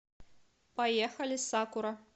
поехали сакура